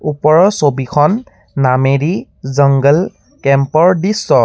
ওপৰৰ ছবিখন নামেৰি জংগল কেম্প ৰ দৃশ্য।